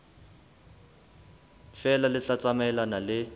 feela le tla tsamaelana le